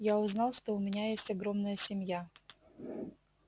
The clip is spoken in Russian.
я узнал что у меня есть огромная семья